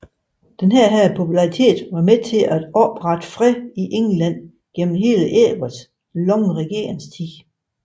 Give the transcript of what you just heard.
Denne popularitet var med til at opretholde fred i England gennem hele Edvards lange regeringstid